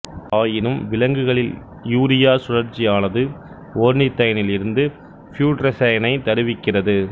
ஆயினும் விலங்குகளில் யூரியா சுழற்சியானது ஒர்னிதைனில் இருந்து ப்யுட்ரெஸைனை தருவிக்கிறது